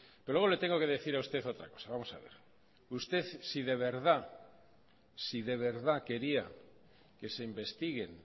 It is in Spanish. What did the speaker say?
pero luego le tengo que decir a usted otra cosa vamos a ver usted si de verdad si de verdad quería que se investiguen